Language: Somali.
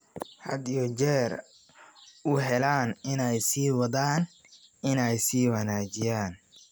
had iyo jeer u heellan inay sii wadaan inay sii wanaajiyaan.